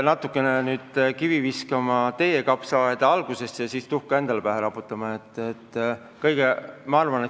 Ma peaks nüüd kivi kõigepealt viskama teie kapsaaeda ja siis tuhka endale pähe raputama.